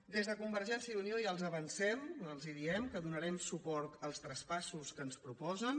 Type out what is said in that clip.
des de convergència i unió ja els avancem els diem que donarem suport als traspassos que ens proposen